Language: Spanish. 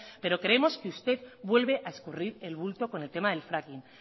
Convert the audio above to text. pero creemos que usted vuelve a escurrir el bulto con el tema del fracking